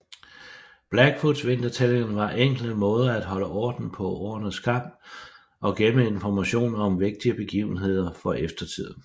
Blackfoot vintertællingerne var enkle måder at holde orden på årenes gang og gemme informationer om vigtige begivenheder for eftertiden